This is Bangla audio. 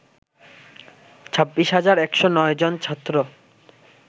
২৬ হাজার ১০৯ জন ছাত্র